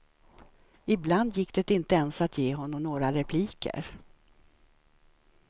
Ibland gick det inte ens att ge honom några repliker.